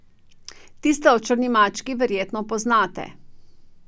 Tisto o črni mački verjetno poznate.